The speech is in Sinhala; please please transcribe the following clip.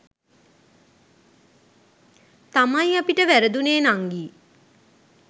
තමයි අපිට වැරදුනේ නංගි.